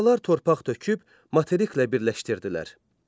Sonralar torpaq töküb materiklə birləşdirdilər.